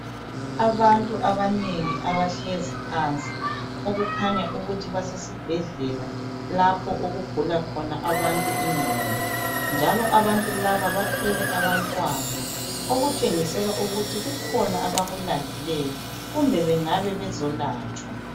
Abantu abanengi abahlezi phansi okukhanya ukuthi basesibhedlela lapho okugula khona abantu ingqondo. Njalo abantu laba bathwele abantwana okutshengisela ukuthi kukhona abakulandileyo kumbe bangabe bezolatshwa.